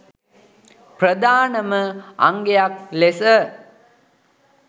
ප්‍රධානම අංගයක් ලෙස